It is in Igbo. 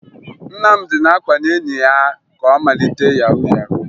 Nnamdị na-akwanye enyi ya ka ọ malite yahu yahu